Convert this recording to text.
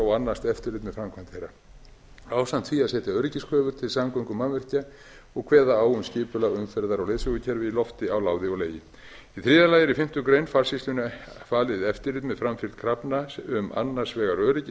og annast eftirlit með framkvæmd þeirra ásamt því að setja öryggiskröfur til samgöngumannvirkja og kveða á um skipulag umferðar og leiðsögukerfa í lofti á láði og legi í þriðja lagi eru í fimmtu grein farsýslunnar falið eftirlit með framfylgd krafna um annars vegar öryggi